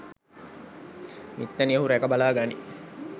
මිත්තණිය ඔහු රැක බලා ගනියි